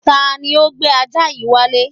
Tani ó gbé ajá yìí wálé?